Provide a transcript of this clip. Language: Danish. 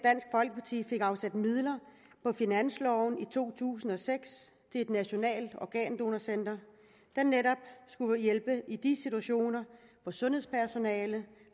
det er afsat midler på finansloven i to tusind og seks et nationalt organdonorcenter der netop skulle hjælpe i de situationer hvor sundhedspersonalet